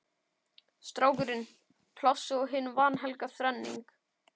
Strákurinn, Plássið og hin vanhelga þrenning